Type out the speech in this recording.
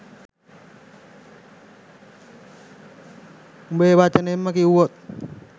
උඹේ වචනයෙන්ම කිව්වොත්